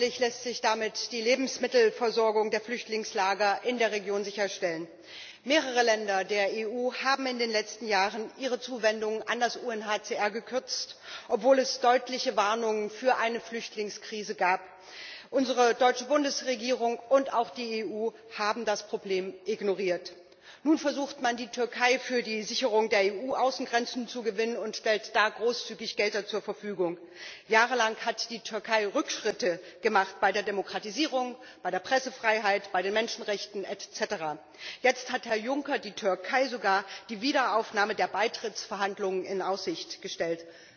Frau Präsidentin! Selbstverständlich ist das Hilfsprogramm für Syrien zu begrüßen. Hoffentlich lässt sich damit die Lebensmittelversorgung der Flüchtlingslager in der Region sicherstellen. Mehrere Länder der EU haben in den letzten Jahren ihre Zuwendungen an das UNHCR gekürzt, obwohl es deutliche Warnungen vor einer Flüchtlingskrise gab. Unsere deutsche Bundesregierung und auch die EU haben das Problem ignoriert. Nun versucht man, die Türkei für die Sicherung der EU Außengrenzen zu gewinnen, und stellt da großzügig Gelder zur Verfügung. Jahrelang hat die Türkei Rückschritte gemacht bei der Demokratisierung, bei der Pressefreiheit, bei den Menschenrechten, et cetera. Jetzt hat Herr Juncker der Türkei sogar die Wiederaufnahme der Beitrittsverhandlungen in Aussicht gestellt.